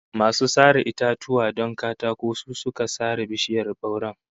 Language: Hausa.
Masu sare itatuwa don katako su suka sare bishiyar bauren